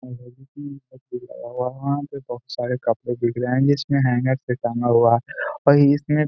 वहां पर बोहुत सारे कपड़े बिक रहे हैं जिसमे हैंगर मे टंगा हुआ और इसमें --